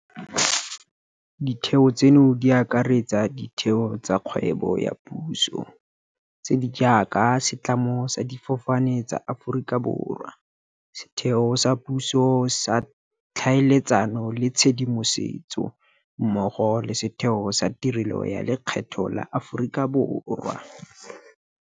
Ditheo tseno di akaretsa ditheo tsa kgwebo ya puso tse di jaaka Setlamo sa Difofane tsa Aforika Borwa SAA, Setheo sa Puso sa Tlhaeletsano le Tshedimosetso, GCIS, mmogo le Setheo sa Tirelo ya Lekgetho la Aforika Borwa, SARS.